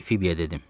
Fibiyə dedim.